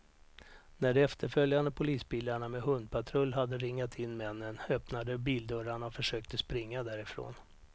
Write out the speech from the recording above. När de efterföljande polisbilarna med hundpatrull hade ringat in männen, öppnade de bildörrarna och försökte springa därifrån.